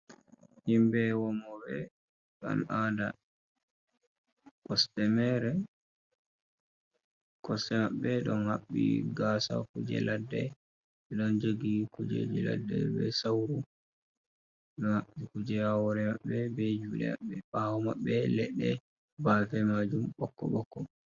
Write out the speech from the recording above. Himbe womoɓe al'ada kosɗe mere, kosɗe maɓɓe be don habbi gasa kuje laɗɗe, be don jogi kujeji ladde be sauru, ɓeɗo haɓɓi kuje ha hore maɓɓe ɓe be jude, bawo maɓɓe ɓe leɗɗe bafe majum ɓokko ɓokko.